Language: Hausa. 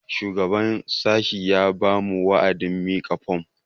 Shugaban sashen ya ba mu wa'adin mika fom